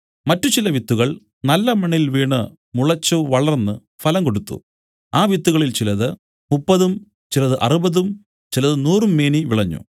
മറ്റു ചില വിത്തുകൾ നല്ല മണ്ണിൽ വീണു മുളച്ചു വളർന്ന് ഫലം കൊടുത്തു ആ വിത്തുകളിൽ ചിലത് മുപ്പതും ചിലത് അറുപതും ചിലത് നൂറും മേനിയും വിളഞ്ഞു